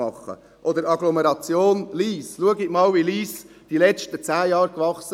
Oder die Agglomeration Lyss: Schauen Sie einmal, wie Lyss während der letzten 10 Jahre wuchs.